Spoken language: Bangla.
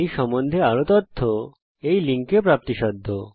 এই সম্বন্ধে আরও তথ্য এই ওয়েবসাইটে দেখতে পারেন